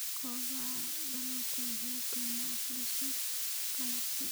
Kobaca dalaggu wuxuu keenaa fursado ganacsi.